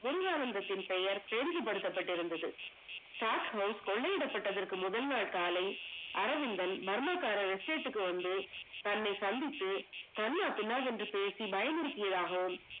வேரியானந்தத்தின் பெயர் பெரிது படுத்தப்பட்டது. stock house கொள்ளையிடப்பட்டதர்க்கு முதல் நாள் காலை, அரவிந்தன் மர்மக்காரர் estate க்கு வந்து தன்னை சந்தித்து, கண்ணாபின்னால் என்று பேசி பயம்புடிதியதாகவும்